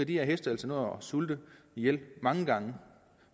de her heste altså nå at sulte ihjel mange gange